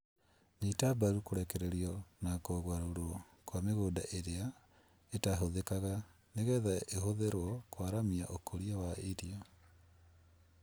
Nyita mbaru kũrekererio na kũgarũrwo kwa mĩgunda ĩrĩa itahũthĩkaga nĩgetha ĩhũthĩrwo kwaramia ũkũria wa irio